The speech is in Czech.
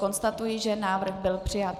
Konstatuji, že návrh byl přijat.